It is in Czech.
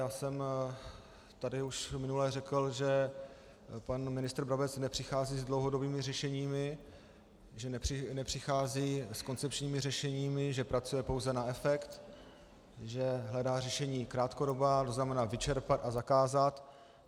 Já jsem tady už minule řekl, že pan ministr Brabec nepřichází s dlouhodobými řešeními, že nepřichází s koncepčními řešeními, že pracuje pouze na efekt, že hledá řešení krátkodobá, to znamená vyčerpat a zakázat.